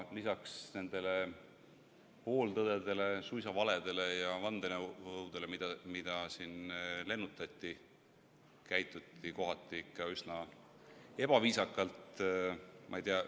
Lisaks nendele pooltõdedele, suisa valedele ja vandenõudele, mida siin lennutati, käituti kohati ikka üsna ebaviisakalt.